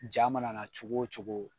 Ja mana cogo o cogo.